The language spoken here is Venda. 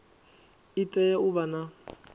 i tea u vha na